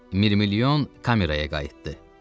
Mirmilyon kameraya qayıtdı.